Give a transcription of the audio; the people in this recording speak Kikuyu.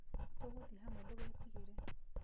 Tũgũthĩe hamwe ndũgetigĩre.